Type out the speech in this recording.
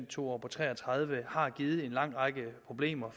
to år på tre og tredive har givet en lang række problemer